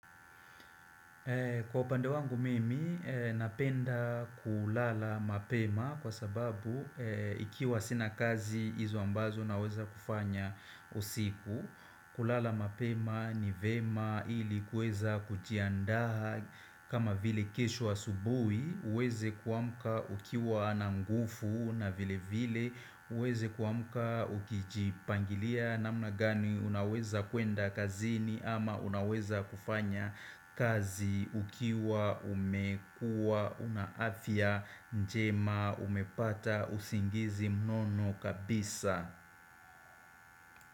Kwa upande wangu mimi, napenda kulala mapema kwa sababu ikiwa sina kazi hizo ambazo naweza kufanya usiku kulala mapema ni vyema ili kuweza kujiandaa kama vile kesho wa asubuhi uweze kuamka ukiwa na nguvu na vile vile uweze kuamka ukijipangilia namna gani unaweza kuenda kazini ama unaweza kufanya kazi ukiwa umekua una afya njema umepata usingizi mnono kabisa.